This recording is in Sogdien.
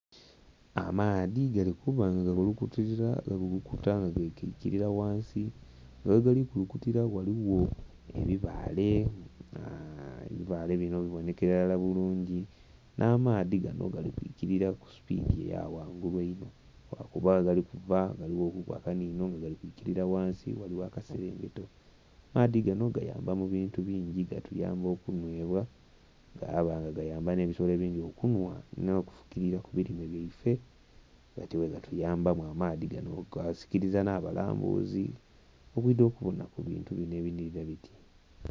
Amaadhi gali kuba nga gakulukutilira, gakulukuta nga gaikilira ghansi nga ghegali kulukutira ghaligho ebibaale. Ebibaale bino bibonhekela ilara bulungi, nh'amaadhi gano gali kwikilira ku supiidi ya ghangulu inho, lwakuba ghegali kuva ghaligho kuku akanhinho nga gali kwikilira ghansi ghaligho akaselengeto. Maadhi gano gayamba mu bintu bingi, gatuyamba okunhwebwa, gaba nga gayamba nh'ebisolo ebingi okunhwa, nh'okufukilira ku bilime byaife. Gatyo bwegatuyambamu amaadhi gano, gaasikiliza nh'abalambuzi okwidha okubona ku bintu bino ebinhilira biti.